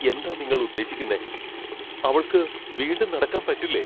എന്താ നിങ്ങൾ ഉദ്ദേശിക്കുന്നേ ? അവൾക്ക് വീണ്ടും നടക്കാൻ പറ്റില്ലേ ?